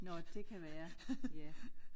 Nåh det kan være ja